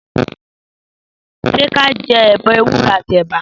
Sẹ kà jẹ ọ̀bẹ ẹwùro àtí ẹbà?